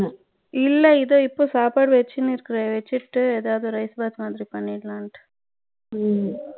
இல்ல இதோ இப்போ சாப்பாட்டு வச்சிட்டு இருக்கேன் வச்சிட்டு எதாவது rice box மாதிரி பண்ணிடலாம்னு ம்